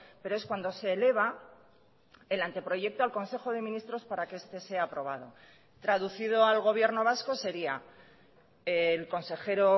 pero es cuando se eleva el anteproyecto al consejo de ministros para que este sea aprobado traducido al gobierno vasco sería el consejero o